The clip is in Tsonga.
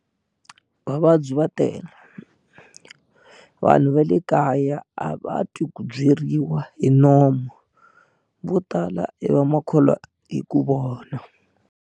Vavabyi va tele vanhu va le kaya a va twi ku byeriwa hi nomu vo tala i vamakholwa hi ku vona.